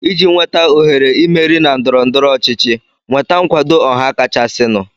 iji nweta ohere Ị meri na ndọrọndọrọ ọchịchị, nweta nkwado ọha kachasịnụ.